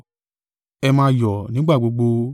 Ẹ máa yọ̀ nígbà gbogbo.